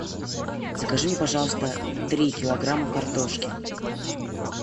закажи мне пожалуйста три килограмма картошки